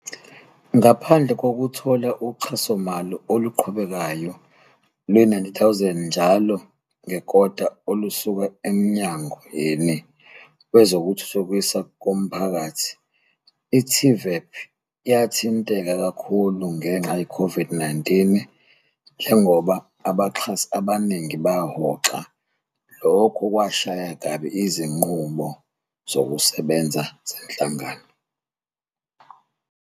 Ngaphandle kokuthola uxhasomali oluqhubekayo lwezi-R90 000 njalo ngekota olusuka eMnyangweni Wezokuthuthukiswa Komphakathi, i-TVEP yathinteka kakhulu ngenxa ye-COVID-19 njengoba abaxhasi abaningi bahoxa, lokho okwashaya kabi izinqubo zokusebenza zenhlangano.